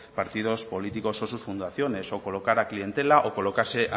partidos políticos o sus fundaciones o colocar a clientela o colocarse